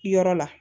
Yɔrɔ la